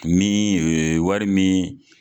Miiin wari miiin.